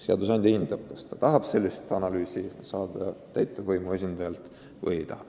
Seadusandja hindab, kas ta tahab sellist analüüsi täitevvõimu esindajalt saada või ei taha.